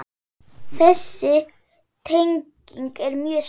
Þessi tenging er mjög sterk.